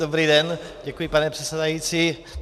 Dobrý den, děkuji, pane předsedající.